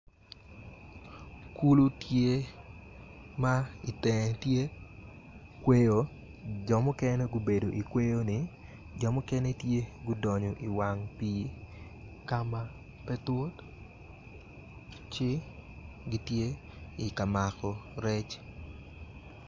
Kulu tye ma itenge tye kweyo jo mukene tye ma gubedo i kweyoni jo mukene tye ma gudonyo iwang pii ka ma pe tut ci gitye i ka mako rec.